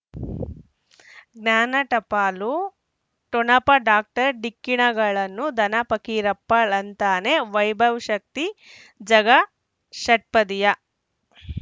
ಜ್ಞಾನ ಟಪಾಲು ಠೊಣಪ ಡಾಕ್ಟರ್ ಢಿಕ್ಕಿ ಣಗಳನು ಧನ ಪಕೀರಪ್ಪ ಳಂತಾನೆ ವೈಭವ್ ಶಕ್ತಿ ಝಗಾ ಷಟ್ಪದಿಯ